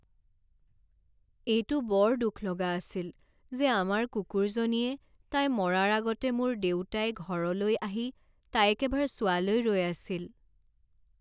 এইটো বৰ দুখ লগা আছিল যে আমাৰ কুকুৰজনীয়ে তাই মৰাৰ আগতে মোৰ দেউতাই ঘৰলৈ আহি তাইক এবাৰ চোৱালৈ ৰৈ আছিল।